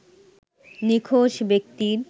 নিখোঁজ ব্যক্তির